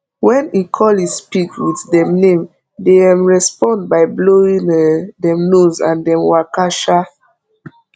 wen he call his pig with dem name dey um respond by blowing um dem nose and dem waka um